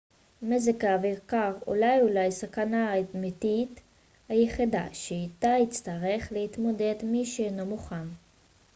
מזג אוויר קר הוא אולי הסכנה האמתית היחידה שאיתה יצטרך להתמודד מי שאינו מוכן